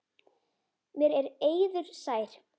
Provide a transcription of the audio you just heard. Mér er eiður sær.